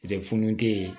funun tɛ yen